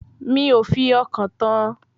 Mi ò fi ọkàn tán an